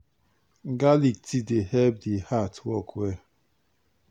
garlic tea dey help the heart work well